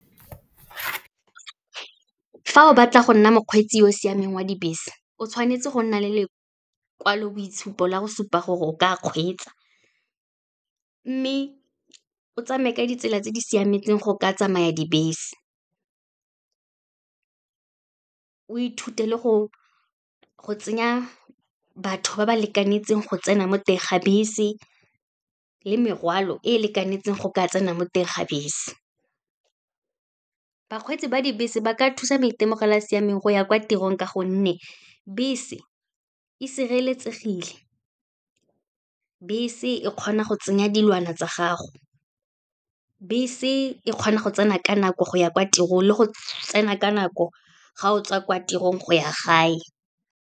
Fa o batla go nna mokgweetsi o o siameng wa dibese, o tshwanetse go nna le lekwaloboitshupo la go supa gore o ka kgweetsa, mme o tsamaye ka ditsela tse di siametseng go ka tsamaya dibese. O ithute le go tsenya batho ba ba lekanetseng go tsena mo teng ga bese, le merwalo e e lekanetseng go ka tsena mo teng ga bese. Bakgweetsi ba dibese ba ka thusa maitemogelo a a siameng go ya kwa tirong ka gonne, bese e sireletsegile, bese e kgona go tsenya dilwana tsa gago, bese e kgona go tsena ka nako go ya kwa tirong le go tsena ka nako ga o tswa kwa tirong, go ya gae.